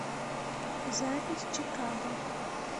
запись чикаго